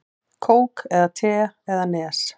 Kók eða te eða Nes?